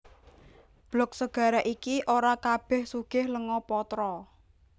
Blok segara iki ora kabèh sugih lenga patra